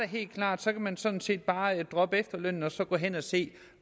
helt klart at man sådan set bare kan droppe efterlønnen og så gå hen og se